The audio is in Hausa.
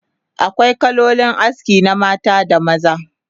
Akwai kalolin aski na mata da maza